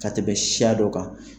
Ka tɛmɛ siya dɔ kan